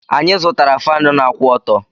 Anyị zụtara Faanụ na-akwụ ọtọ́.